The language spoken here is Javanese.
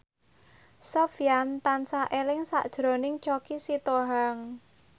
Sofyan tansah eling sakjroning Choky Sitohang